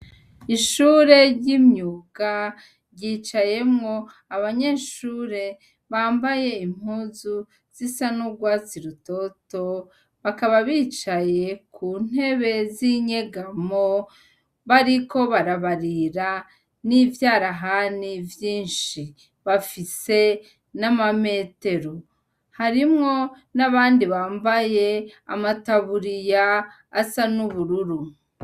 Ishure ryimyuga ryicayemw' abanyeshure bambay' impuzu zisa n' urwatsi rutoto, bakaba bicaye kuntebe zinyegamo bariko barabarira n' ivyarahani vyinshi, bafise nama metero harimwo n' abandi bambay' amataburiya asa n' ubururu.